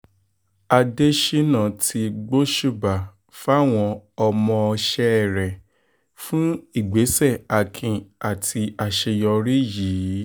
adésínà ti gbóṣùbà fáwọn ọmọọṣẹ́ rẹ̀ fún ìgbésẹ̀ akin àti àṣeyọrí yìí